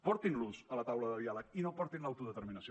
portin los a la taula de diàleg i no hi portin l’autodeterminació